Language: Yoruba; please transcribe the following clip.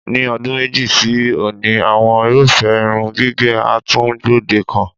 Ní o̩dún méjì sí òní, àwo̩n irúfé̩ irun gígè̩ á tún gbòdekan.